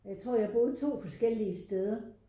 Jeg tror jeg boede to forskellige steder